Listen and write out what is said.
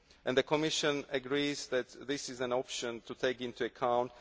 explored. The Commission agrees that this is an option to take into